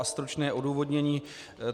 A stručné odůvodnění.